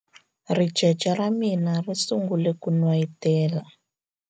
ricece ra mina ri sungule ku n'wayitela